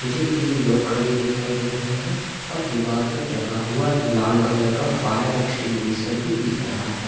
मुझे तीन लोग खड़े दिखाई दे रहे हैं और दीवार पर टंगा हुआ लाल कलर का फायर एक्सटिंगगुइशेर भी दिख रहा है।